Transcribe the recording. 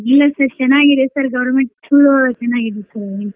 ಇಲ್ಲಾ sir ಚನಾಗ್ ಇದೆ sir government school ಚನಾಗ್ ಇದೆ sir .